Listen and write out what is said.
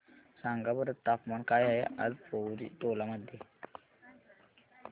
सांगा बरं तापमान काय आहे आज पोवरी टोला मध्ये